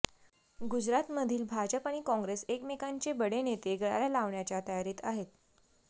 गुजरातमधील भाजप आणि काँग्रेस एकमेकांचे बडे नेते गळाला लावण्याच्या तयारीत आहेत